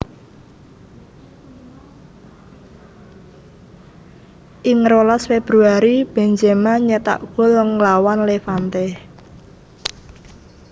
Ing rolas Februari Benzema nyétak gol nglawan Levante